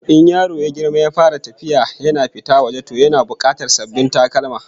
In yaro ya girma ya fara tafiya yana fita waje, to yana bukatar sabbin takalma